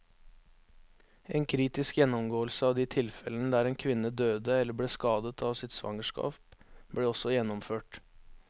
En kritisk gjennomgåelse av de tilfellene der en kvinne døde eller ble skadet av sitt svangerskap, ble også gjennomført.